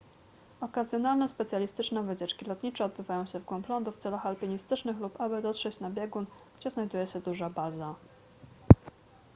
okazjonalne specjalistyczne wycieczki lotnicze odbywają się w głąb lądu w celach alpinistycznych lub aby dotrzeć na biegun gdzie znajduje się duża baza